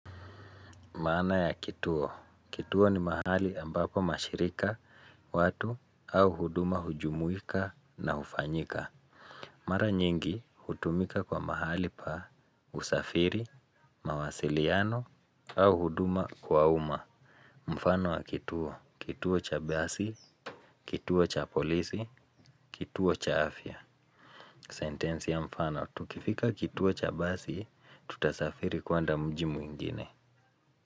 Maana ya kituo. Kituo ni mahali ambapo mashirika, watu au huduma hujumuika na hufanyika. Mara nyingi hutumika kwa mahali pa, usafiri, mawasiliano au huduma kwa umma. Mfano wa kituo. Kituo cha basi, kituo cha polisi, kituo cha afya. Sentensi ya mfano. Tukifika kituo cha basi, tutasafiri kwenda mji mwingine.